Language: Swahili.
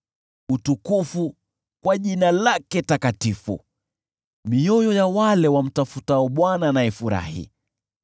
Lishangilieni jina lake takatifu, mioyo ya wale wamtafutao Bwana na ifurahi.